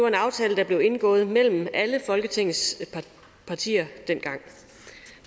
en aftale der blev indgået mellem alle folketingets partier dengang